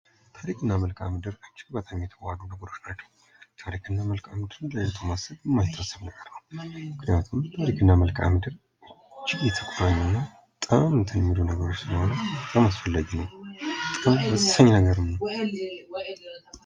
ታሪክና መልከአ ምድር እጅግ በጣም የተዋዶ ነገሮች ናቸው። ምክንያቱም ታሪክና መልከዓ ምድር የተጠመኑ ነገሮች ናቸው።